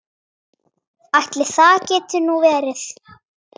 Ætli það geti nú verið.